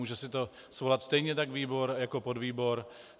Může si to svolat stejně tak výbor jako podvýbor.